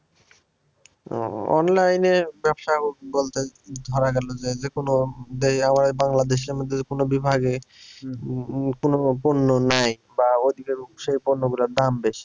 Online এ ব্যবসা বলতে ধরা গেল যে যেকোনো আমাদের বাংলাদেশের মধ্যে কোনো বিভাগে উম কোনো পণ্য নেই বা ওইদিকের সেই পণ্যগুলার দাম বেশি।